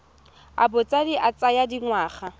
a botshabi a tsaya dingwaga